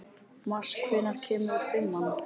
Mars, hvenær kemur fimman?